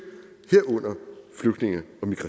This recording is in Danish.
man